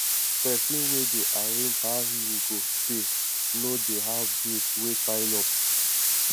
pesin wey dey arrange how im go pay no dey have bills wey pile up